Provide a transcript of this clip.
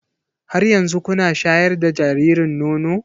Har yanzu kuna shayar da jaririn nono?